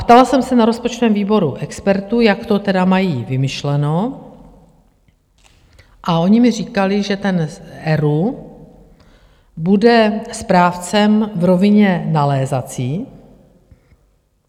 Ptala jsem se na rozpočtovém výboru expertů, jak to tedy mají vymyšleno, a oni mi říkali, že ten ERÚ bude správcem v rovině nalézací.